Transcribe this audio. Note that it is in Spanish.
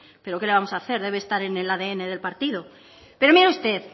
pero qué le vamos a hacer debe estar en el adn del partido pero mire usted